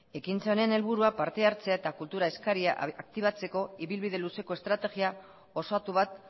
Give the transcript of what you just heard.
ekintza honen helburua partehartzea eta kultura eskaria aktibatzeko ibilbide luzeko estrategia osatu bat